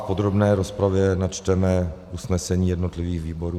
V podrobné rozpravě načteme usnesení jednotlivých výborů.